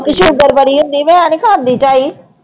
Sugar ਬੜੀ ਹੁੰਦੀ, ਮੈਂ ਨੀ ਖਾਂਦੀ ਝਾਈ।